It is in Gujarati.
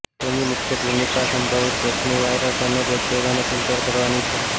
તેની મુખ્ય ભૂમિકા સંભવિત જોખમી વાયરસ અને બેક્ટેરિયાને ફિલ્ટર કરવાની છે